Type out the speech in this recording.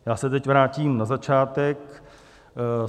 Já se teď vrátím na začátek.